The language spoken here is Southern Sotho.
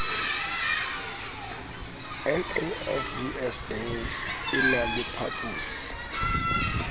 nafvsa e na le phaposi